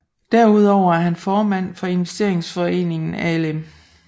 Derudover er han formand for investeringsforeningen Alm